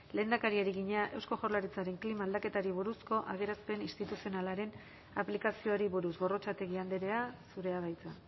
lehendakariari egina eusko jaurlaritzaren klima aldaketari buruzko adierazpen instituzionalaren aplikazioari buruz gorrotxategi andrea zurea da hitza